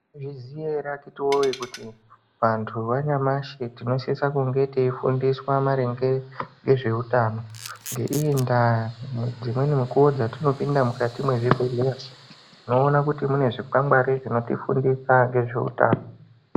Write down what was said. Maizviziva here akiti woye kuti vantu vanyamashi tinosisa kunge teifundiswa maringe ngezvehutano ngeiyi nda Dzimwnei mukuwo dzatinopinda dzatinopinda mukati mezvibhedhlera tinoona kuti mune zvikwangwari zvinotofundisa nezvehutano.